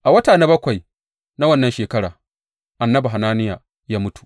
A wata na bakwai na wannan shekara, annabi Hananiya ya mutu.